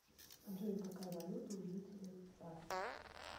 джой какая валюта у жителей цар